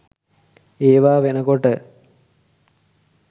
ඒවා වෙනකොට